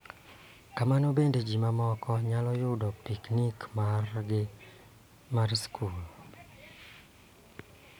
Kamano bende, ji moko nyalo yudo piknik margi mar skul .